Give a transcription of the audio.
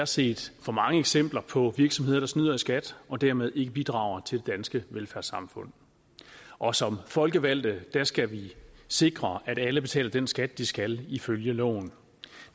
set for mange eksempler på virksomheder der snyder i skat og dermed ikke bidrager til det danske velfærdssamfund og som folkevalgte skal vi sikre at alle betaler den skat de skal ifølge loven